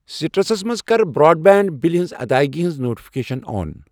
سِٹرس منٛز کَر broadband بِلہِ ہٕنٛز ادٲیگی ہٕنٛز نوٹفکیشن آن۔